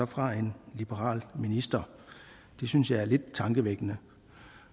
fra en liberal minister det synes jeg er lidt tankevækkende